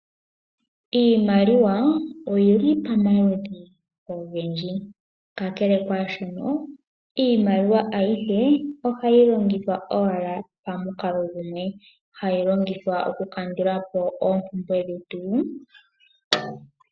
Iimaliwa oyili pamaludhi ogendji, ka kele kwaashino iimaliwa ayihe ohayi longithwa owala pamukalo gumwe, hayi longithwa oku kandula po oompumbwe dhetu.